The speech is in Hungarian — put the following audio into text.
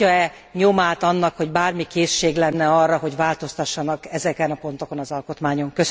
Látja e nyomát annak, hogy bármi készség lenne arra, hogy változtassanak ezeken a pontokon az alkotmányon?